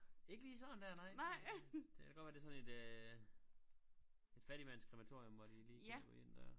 Ikke lige sådan der nej det kan da godt være det sådan et øh et fattigmands krematorium hvor de lige kan gå ind dér